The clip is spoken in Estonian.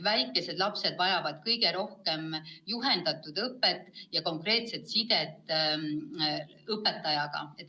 Väikesed lapsed vajavad kõige rohkem juhendatud õpet ja konkreetset sidet õpetajaga.